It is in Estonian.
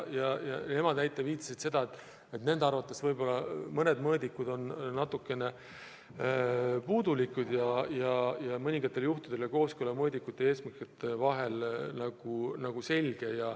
Nemad viitasid, et nende arvates on mõned mõõdikud natuke puudulikud, mõningatel juhtudel aga on kooskõla mõõdikute ja eesmärkide vahel selge.